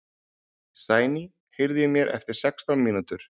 Sæný, heyrðu í mér eftir sextán mínútur.